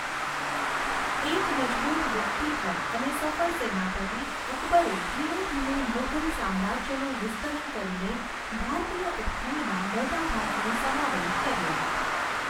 એક મજબૂત વ્યક્તિત્વ અને સફળ સેનાપતિ, અકબરે ધીમે ધીમે મુઘલ સામ્રાજ્યનું વિસ્તરણ કરીને ભારતીય ઉપખંડના મોટા ભાગનો સમાવેશ કર્યો.